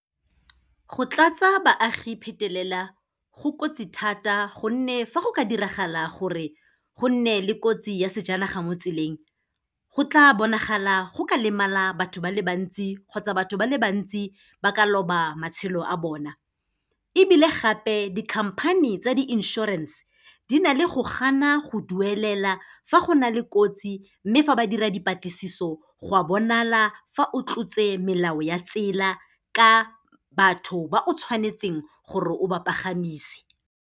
Go tlatsa baagi phetelela, go kotsi thata gonne fa go ka diragala gore gonne le kotsi ya sejanaga mo tseleng, go tla bonagala go ka lemala batho ba le bantsi kgotsa batho ba le bantsi ba ka loba matshelo a bona. Ebile gape, di-company tsa di-insurance-e, di na le go gana go duelela fa go na le kotsi mme fa ba dira dipatlisiso go a bonala fa o tlotse melao ya tsela ka batho ba o tshwanetseng gore o ba pagamise.